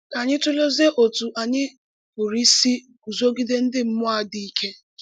Ka ányí tụ̀lézìe ọ́tụ́ ányí pụ̀rụ̀ ísì gúzogìdé ndí mmúọ́ á dị́ íké.